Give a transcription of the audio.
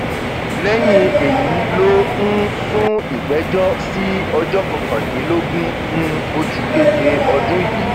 lẹyìn èyí ló um sún ìgbẹjọ sí ọjọ kọkàndínlógún um oṣù keje ọdún yìí